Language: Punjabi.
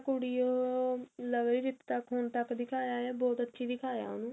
ਕੁੜੀ ਉਹ ਜਿੱਥੇ ਤੱਕ ਦਿਖਾਇਆ ਬਹੁਤ ਅੱਛੀ ਦਿਖਾਇਆ